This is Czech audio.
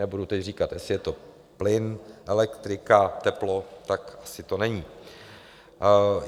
Nebudu teď říkat, jestli je to plyn, elektrika, teplo, tak to asi není.